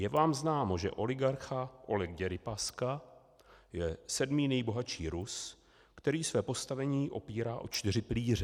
Je vám známo, že oligarcha Oleg Děripaska je sedmý nejbohatší Rus, který své postavení opírá o čtyři pilíře?